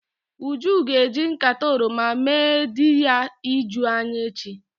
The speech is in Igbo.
Uju ga-eji nkata oroma mee di ya ijuu anya echi.